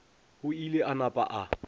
o ile a napa a